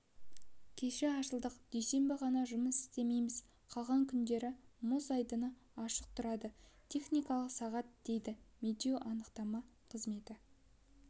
кеше ашылдық дүйсенбі ғана жұмыс істемейміз қалған күндері мұз айдыны ашық тұрады техникалық сағат дейін деді медеу анықтама қызметі